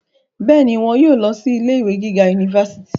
bẹ́ẹ̀ni, wọn yóò lọ sí ilé ìwé gíga unifásitì